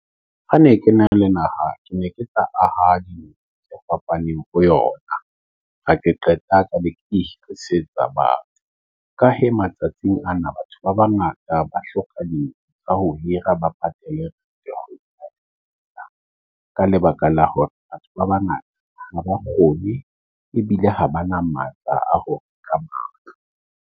Ha ne ke na le naha, ke ne ke sa ahead of fapaneng ho yona. Ha ke qeta ka le itlisetsoa batho . Ka hee matsatsing ana, batho ba bangata ba hloka o ka ho hira ba patela ka lebaka la hore batho ba bangata ha ba kgone ebile ha ba na matla a hore ka .